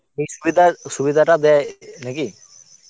এই সুবিধা~ সুবিধাটা দেয় নাকি?